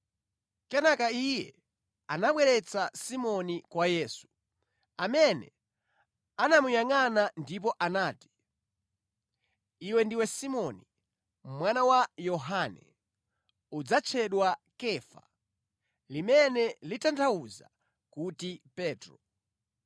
Kenaka iye anabweretsa Simoni kwa Yesu, amene anamuyangʼana ndipo anati, “Iwe ndiwe Simoni, mwana wa Yohane. Udzatchedwa Kefa” (limene litanthauza kuti Petro).